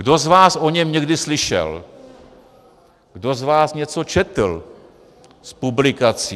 Kdo z vás o něm někdy slyšel, kdo z vás něco četl z publikací?